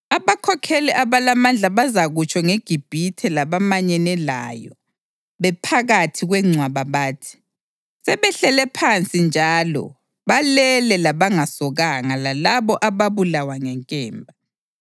Abakhokheli abalamandla bazakutsho ngeGibhithe labamanyene layo bephakathi kwengcwaba bathi, ‘Sebehlele phansi njalo balele labangasokanga, lalabo ababulawa ngenkemba.’